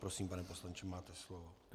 Prosím, pane poslanče, máte slovo.